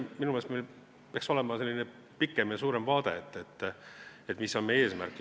Minu meelest peaks meil olema pikem ja suurem vaade sellele, mis on meie eesmärk.